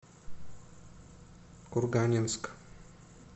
курганинск